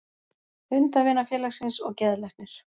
Hundavinafélagsins og geðlæknir.